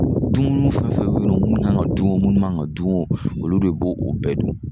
Dumuni fɛn fɛn bɛ yen minnu kan ka dun minnu man ka dun olu de bo o bɛɛ dun